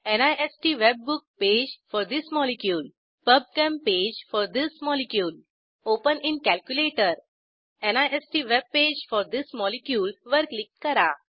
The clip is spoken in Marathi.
निस्त webbook page for this molecule PubChem page for this molecule open in calculator NIST web page for this molecule वर क्लिक करा